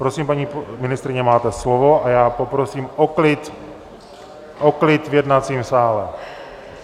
Prosím, paní ministryně, máte slovo, a já poprosím o klid v jednacím sále.